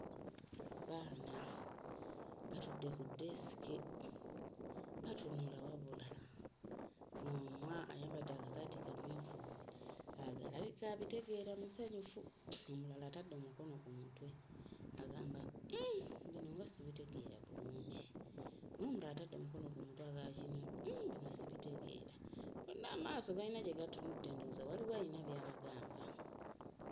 Abaana batudde ku ddesike batunula wabula omu ayambadde akasaati kamyufu alabika abitegeera musanyufu, omulala atadde omukono ku mutwe agamba hmm bino nga sibitegeera bulungi! N'omulala atadde omukono ku mutwe agamba kino hmm nga sibitegeera. Bonna amaaso galina gye gatudde, ndowooza waliwo alina by'abagamba.